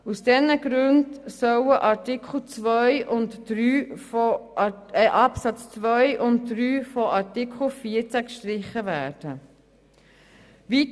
Aus diesen Gründen sollen die Absätze 2 und 3 des Artikels 14 gestrichen werden.